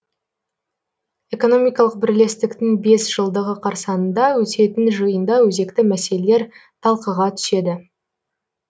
экономикалық бірлестіктің бес жылдығы қарсаңында өтетін жиында өзекті мәселелер талқыға түседі